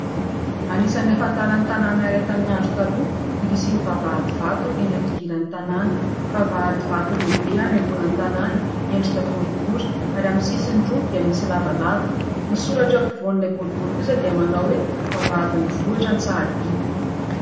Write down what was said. Anisan'ny ahafantarana ny tanana iray tamin'ny andro taloha ny fisian'ny vavahady vato eny amin'ny fidiran'ny tanana. Vavahady vato lehibe anaingoana ny tanana, miendrika boribory ary amin'ny sisiny roa dia misy lavalava. Ny soratra eo ampovoan'ilay boribory kosa dia manao hoe : Vavahadin'ny vohitra Antsahadinta.